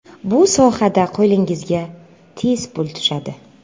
Bu sohada qo‘lingizga tez pul tushadi.